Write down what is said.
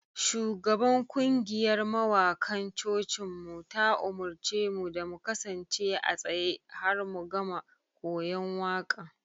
Shugaban kungiyar mawakan cocinmu ta umarce mu da mu kasance a tsaye har mu gama koyon waƙan.